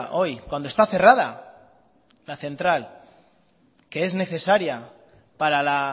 hoy cuando está cerrada la central que es necesaria para la